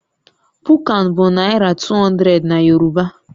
Puunkan bụ Naira 200 na Yoruba